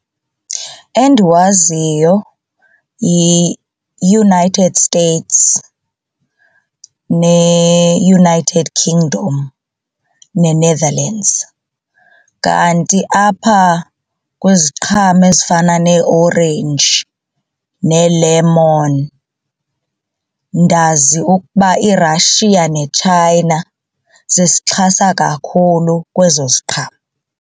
Endiwaziyo yiUnited States neUnited Kingdom neNetherlands, kanti apha kwiziqhamo ezifana neeorenji nee-lemon ndazi ukuba iRussia neChina zisixhasa kakhulu kwezo ziqhamo.